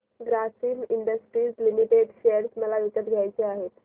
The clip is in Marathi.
ग्रासिम इंडस्ट्रीज लिमिटेड शेअर मला विकत घ्यायचे आहेत